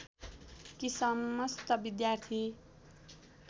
कि समस्त विद्यार्थी